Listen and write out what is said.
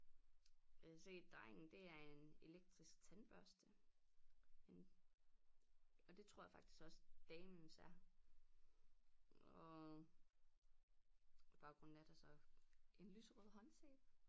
Jeg kan se drengen det er en elektrisk tandbørste en og det tror jeg faktisk også damens er og i baggrunden er der så en lyserød håndsæbe